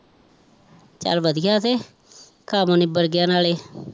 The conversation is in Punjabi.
ਚੱਲ ਵਧੀਆ ਤੇ ਕੰਮ ਨਿਬੜ ਗਿਆ ਨਾਲੇ